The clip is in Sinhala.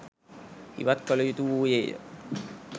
ඉවත් කළ යුතු වූයේ ය